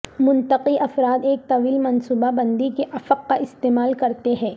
منطقی افراد ایک طویل منصوبہ بندی کے افق کا استعمال کرتے ہیں